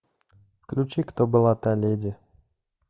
включи кто была та леди